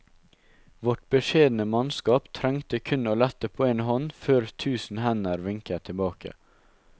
Vårt beskjedne mannskap trengte kun å lette på en hånd før tusen hender vinket tilbake.